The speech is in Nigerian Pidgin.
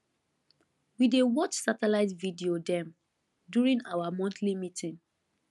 we dey watch satellite video dem during our monthly meeting